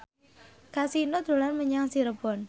Kasino dolan menyang Cirebon